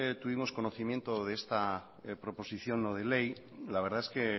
tuvimos conocimiento de esta proposición no de ley la verdad es que